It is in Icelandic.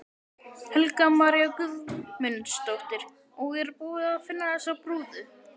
Helga María Guðmundsdóttir: Og er búið að finna þessa brúðu?